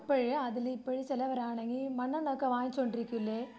അപ്പഴ് അതില് ഇപ്പഴ് ചിലവരാണെങ്കി മണ്ണണ്ണ ഒക്കെ വാങ്ങിച്ചു കൊണ്ടിരിക്കൂലേ?